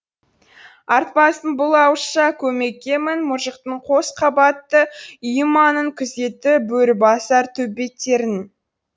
артпассың бұл ауызша көмекке мін мұжықтың қос қабатты үйі маңын күзетті бөрібасар төбеттерің